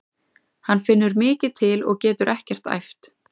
Hann finnur mikið til og getur ekkert æft.